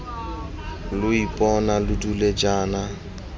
lo ipona lo dule jaana